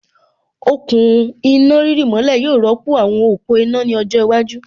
Okùn iná rírì mọ́lẹ̀ yóò rọ́pò àwọn òpó iná ní ọjọ́ iwájú